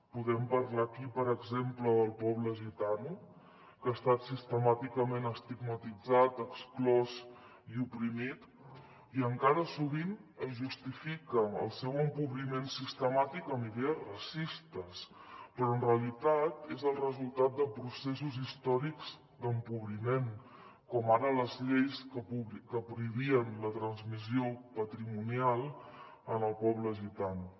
podem parlar aquí per exemple del poble gitano que ha estat sistemàticament estigmatitzat exclòs i oprimit i encara sovint es justifica el seu empobriment sistemàtic amb idees racistes però en realitat és el resultat de processos històrics d’empobriment com ara les lleis que prohibien la transmissió patrimonial en el poble gitano